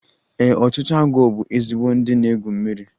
Ee, ọtụtụ agwọ bụ ezigbo ndị na-egwu mmiri